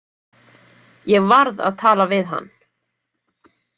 Ég varð að tala við hann.